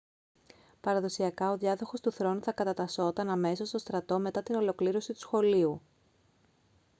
παραδοσιακά ο διάδοχος του θρόνου θα κατατασσόταν αμέσως στον στρατό μετά την ολοκλήρωση του σχολείου